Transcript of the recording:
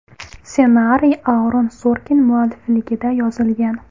Ssenariy Aaron Sorkin muallifligida yozilgan.